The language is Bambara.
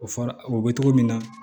O fɔra o bɛ togo min na